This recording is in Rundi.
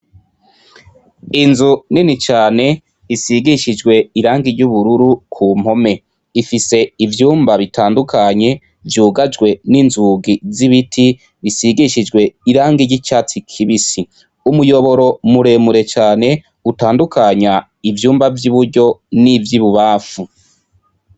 Inzu nini cane, isigishijwe irangi ry'ubururu ku mpome. Ifise ivyumba bitandukanye, vyugajwe n'inzugi z'isigishijwe irangi ry'icatsi kibisi. Umuyoboro muremure cane utandukanya ivyumba vy'i buryo n'ivy'ibubanfu.